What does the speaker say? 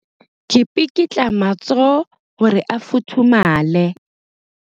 Ke pikitla matsoho hore a futhumale.